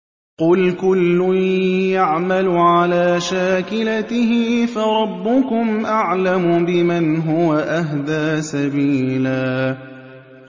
قُلْ كُلٌّ يَعْمَلُ عَلَىٰ شَاكِلَتِهِ فَرَبُّكُمْ أَعْلَمُ بِمَنْ هُوَ أَهْدَىٰ سَبِيلًا